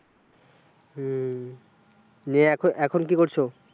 হম যে এখন, এখন কি করছো?